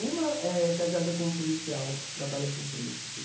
Uma é casada com um policial que trabalha para o príncipe.